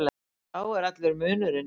Sá er allur munurinn.